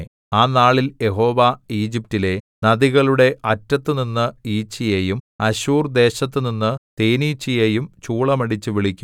ആ നാളിൽ യഹോവ ഈജിപ്റ്റിലെ നദികളുടെ അറ്റത്തുനിന്നു ഈച്ചയെയും അശ്ശൂർദേശത്തുനിന്നു തേനീച്ചയെയും ചൂളമടിച്ചു വിളിക്കും